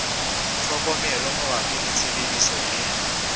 tlhokomelo mabapi le tshebediso e